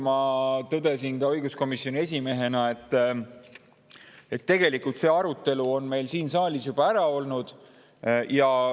Ma tõdesin õiguskomisjoni esimehena, et tegelikult see arutelu oli meil siin saalis juba ära.